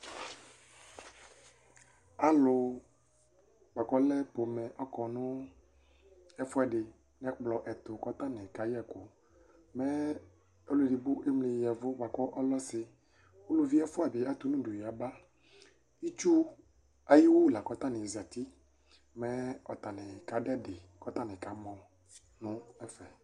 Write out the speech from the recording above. Alʋ bʋakʋ ɔlɛ pomɛ akɔ nʋ ɛfʋɛdi nʋ ɛkplɔ ɛtʋ kʋ atani kayɛ ɛkʋ, mɛ ɔlʋ edigbo emli ya ɛvʋ kʋ ɔlɛ ɔsi Ʋlʋvi ɛfʋabi atʋnʋ ʋdʋ yaba, itsu ayʋ iwʋ lakʋ ɔtani zati, mɛ ɔtani kadʋ ɛdi kʋ ɔtani kamɔ nʋ ɛfɛ